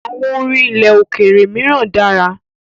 àwọn orin ilẹ̀ òkèèrè míràn dára.